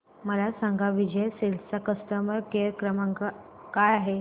मला सांगा विजय सेल्स चा कस्टमर केअर क्रमांक काय आहे